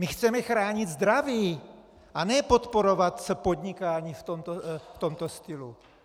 My chceme chránit zdraví a ne podporovat podnikání v tomto stylu!